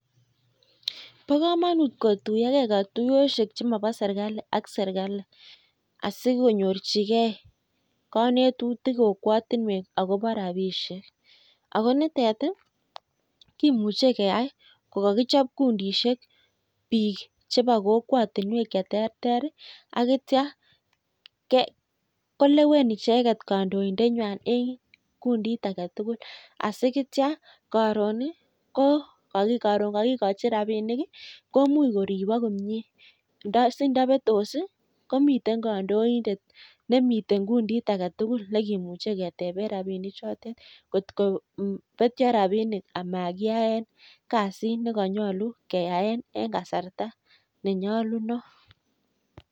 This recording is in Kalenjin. Bo komonut kotuiyogei katuiyoshek chemobo serkali ak chebo serakali asikonyorchigei konetutik kokwatinwek akobo rapishek. Ako nitet kimuchei keyai kokakichop kundishek biik chebo kokwatinwek che terter asineitio kolewen icheket kandoindeng'wai eng kundit age tugul asineitio karon kakikochi rapinik komuch koribok komie si ndapetos komitei kandoindet nemitei kundit age tugul ne kemuchei ketebe rapinik chondet gotko petio rapinik amakiyae kasit mekanyolu keyae en kasarta nenyolunot.